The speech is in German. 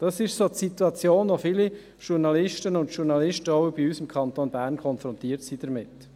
Das ist in etwa die Situation, mit der viele Journalistinnen und Journalisten, auch bei uns im Kanton Bern, konfrontiert sind.